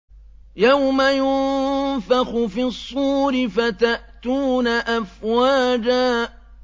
يَوْمَ يُنفَخُ فِي الصُّورِ فَتَأْتُونَ أَفْوَاجًا